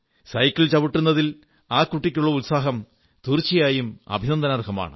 cycle ചവിട്ടുന്നതിൽ ആ കുട്ടിക്കുള്ള ഉത്സാഹം തീർച്ചയായും അഭിനന്ദനാർഹമാണ്